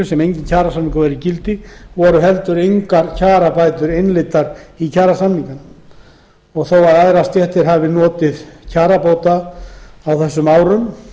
sem enginn kjarasamningur var í gildi voru heldur engar kjarabætur innleiddar í kjarasamningnum þótt aðrar stéttir hafi notið kjarabóta á þessum árum